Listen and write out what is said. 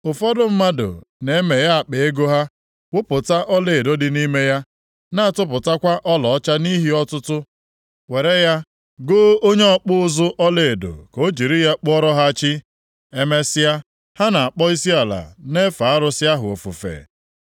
Ụfọdụ mmadụ na-emeghe akpa ego ha wụpụta ọlaedo dị nʼime ya, na-atụpụtakwa ọlaọcha nʼihe ọtụtụ, were ya goo onye ọkpụ ụzụ ọlaedo ka o jiri ya kpụọrọ ha chi, emesịa, ha na-akpọ isiala na-efe arụsị ahụ ofufe.